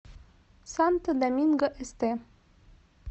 санто доминго эсте